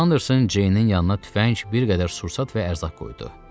Anderson Ceynin yanına tüfəng, bir qədər sursat və ərzaq qoydu.